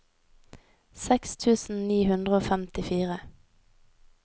seks tusen ni hundre og femtifire